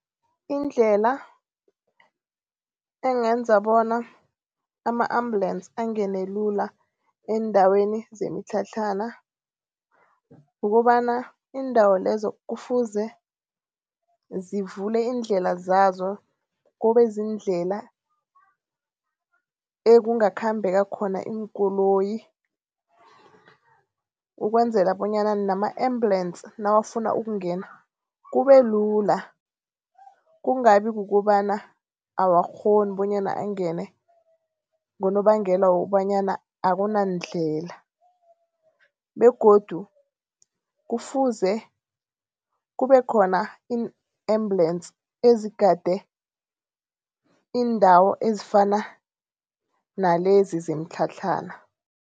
Indlela engenza bona ama-ambulance angene lula eendaweni zemitlhatlhana kukobana, iindawo lezo kufuze zivule iindlela zazo kube ziindlela ekungakhambeka khona iinkoloyi. Ukwenzela bonyana nama-ambulance nawufuna ukungena kube lula, kungabi kukobana awakghoni bonyana angene ngonobangela wokobanyana akunandlela begodu kufuze kube khona ii-ambulance ezigade iindawo ezifana nalezi zemitlhatlhana.